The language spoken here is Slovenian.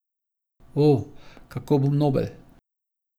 O, kako bom nobel!